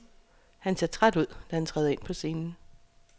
Han ser træt ud, da han træder ind på scenen.